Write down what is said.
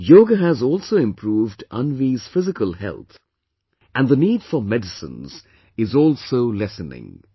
Yoga has also improved Anvi's physical health and the need for medicines is also lessening